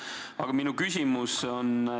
Aga minu küsimus.